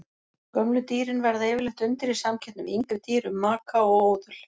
Gömlu dýrin verða yfirleitt undir í samkeppni við yngri dýr um maka og óðul.